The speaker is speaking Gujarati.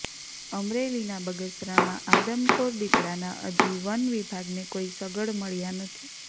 અમરેલીના બગસરામાં આદમખોર દીપડાના હજી વન વિભાગને કોઈ સગડ મળ્યા નથી